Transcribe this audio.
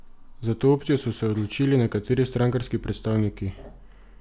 Za to opcijo so se odločili nekateri strankarski predstavniki.